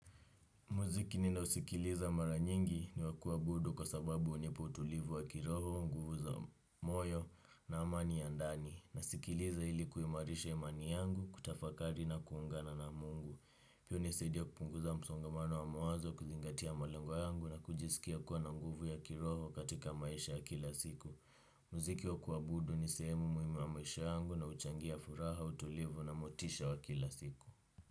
Muziki ninaosikiliza mara nyingi ni wa kuabudu kwa sababu hunipa utulivu wa kiroho, nguvu za moyo na amani ya ndani. Nasikiliza hili kuimarisha imani yangu kutafakari na kuungana na mungu. Pia hunisaidia kupunguza msongamano wa mawazo kuzingatia malengo yangu na kujisikia kuwa na nguvu ya kiroho katika maisha ya kila siku. Muziki wa kuabudu ni sehemu muhimu ya maisha yangu na huchangia furaha, utulivu na motisha wa kila siku.